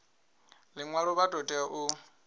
ḽiṅwalo vha ḓo tea u